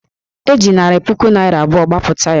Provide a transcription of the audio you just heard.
E ji narị puku naịra abụọ gbapụta ya